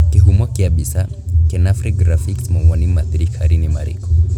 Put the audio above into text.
Kĩhumo kĩa mbica, Kenafri Graphics mawoni ma thirikari ni marĩkũ?